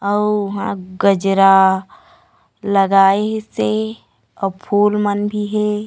अउ हा गजरा लगाईंस हे आऊ फूलमन भी हे।